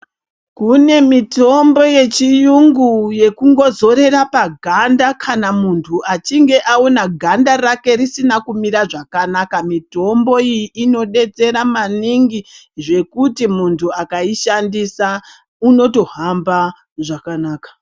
Kune mitombo yechiyungu, yekungozorera paganda kana munhu achinge aona ganda rake risina kumira zvakanaka. Mitombo iyi inodetsera maningi, zvekuti muntu akaishandisa unotohamba zvakanaka.